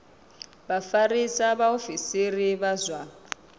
vha vhafarisa vhaofisiri vha zwa